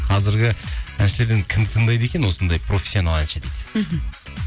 қазіргі әншілерден кімді тыңдайды екен осындай профессионал әнші дейді мхм